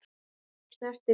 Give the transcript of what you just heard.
Garðar snerti líf margra.